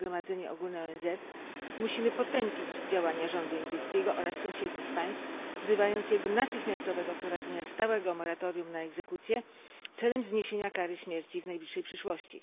przez Zgromadzenie Ogólne ONZ, musimy potępić działania rządu indyjskiego oraz sąsiednich państw, wzywając je do natychmiastowego wprowadzenia stałego moratorium na egzekucje celem zniesienia kary śmierci w najbliższej przyszłości.